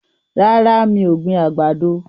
Rárá, mi ò gbin àgbàdo.